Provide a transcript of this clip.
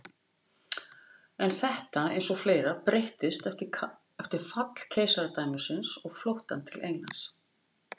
En þetta eins og fleira breyttist eftir fall keisaradæmisins og flóttann til Englands.